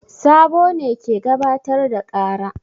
Sabo ne ke gabatar da ƙara.